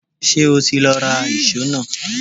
Ṣé o ti lọ ra ìṣó náà?